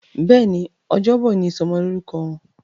Béèni Ọjọ́ Bọ̀ ní ìsomo lórúko Wón.